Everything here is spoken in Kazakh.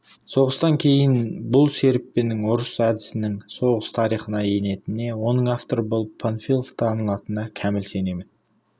соғыстан кейін бұл серіппенің ұрыс әдісінің соғыс тарихына енетініне оның авторы болып панфилов танылатынына кәміл сенемін